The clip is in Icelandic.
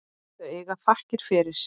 Þau eiga þakkir fyrir.